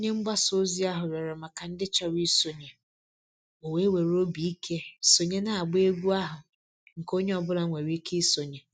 Onye mgbasa ozi ahụ rịọrọ maka ndị chọrọ isonye, o wee were obi ike sonye n'agba egwu ahụ nke onye ọ bụla nwere ike isonye.